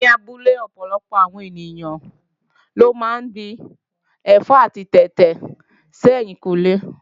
Ní abúlé ọ̀pọ̀lọpọ̀ àwọn ènìyàn ló máa ń gbin ẹ̀fọ́ àti tètè sí ẹ̀yìnkùnlé